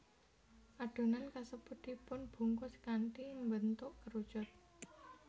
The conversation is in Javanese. Adonan kasebut dipunbungkus kanthi mbentuk kerucut